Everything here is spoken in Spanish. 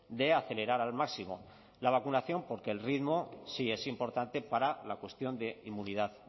de acelerar al máximo la vacunación porque el ritmo sí es importante para la cuestión de inmunidad